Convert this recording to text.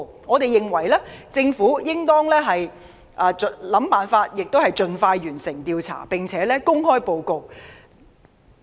我們認為政府應當設法協助調查委員會盡快完成調查，並且公開報告。